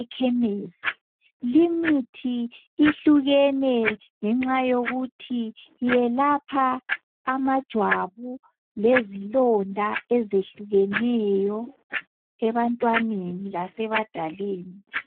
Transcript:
ekhemesi. Limithi ihlukene ngenxa yokuthi iyelapha amajwabu, lezilonda ezehlukehlukeneyo ebantwaneni lase badaleni.